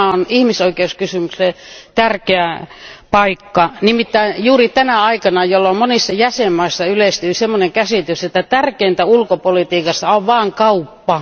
Tämä on ihmisoikeuskysymyksille tärkeä paikka juuri tänä aikana, jolloin monissa jäsenvaltioissa yleistyi semmoinen käsitys, että tärkeintä ulkopolitiikassa on vain kauppa.